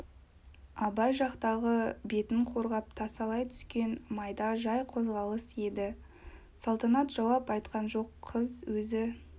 абай жақтағы бетін қорғап тасалай түскен майда жай қозғалыс еді салтанат жауап айтқан жоқ қыз өзі